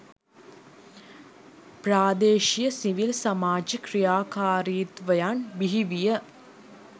ප්‍රාදේශිය civil සමාජ ක්‍රියාකාරිත්වයන් බිහි විය.